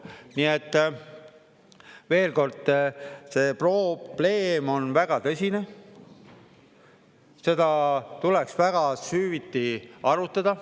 Nii et, veel kord: see probleem on väga tõsine, seda tuleks väga süvitsi arutada.